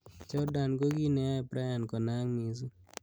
Jorndan ko ki neyae Bryant konaak missing.